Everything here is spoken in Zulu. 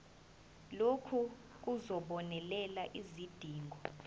lokhu kuzobonelela izidingo